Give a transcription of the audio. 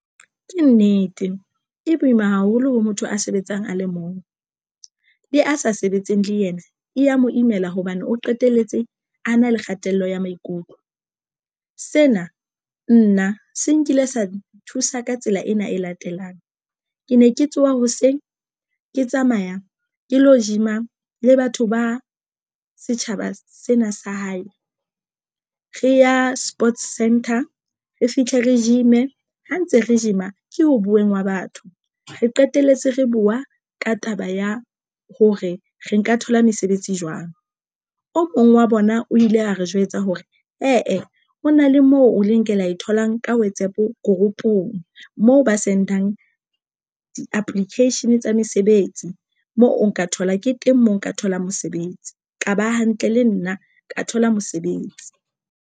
Ke nnete e boima haholo ho motho a sebetsang a le mong, le a sa sebetseng le yena e ya mo imela hobane o qetelletse a na le kgatello ya maikutlo sena nna se nkile sa nthusa ka tsela ena e latelang. Ke ne ke tsoha hoseng ke tsamaya ke lo gym-a le batho ba setjhaba sena sa hae re ya sports center re fitlhe re gym-e ha ntse re gym-a ke ho buweng hwa batho re qeteletse re buwa ka taba ya hore re nka thola mesebetsi jwang. O mong wa bona o ile a re jwetsa hore hee hona le moo o leng ke lo e tholang ka WhatsApp group ong mo ba Send-ang di-application tsa mesebetsi moo o nka thola ke teng mo nka tholang mosebetsi ka ba hantle le nna ka thola mosebetsi.